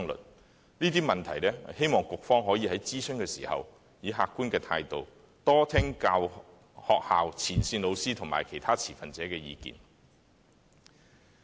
有關這些問題，我希望局方可以在諮詢時，以客觀的態度，多聽學校、前線老師和其他持份者的意見。